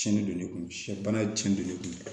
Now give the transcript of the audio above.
Cɛn de don ne kun sɛbana ye tiɲɛ don ne kun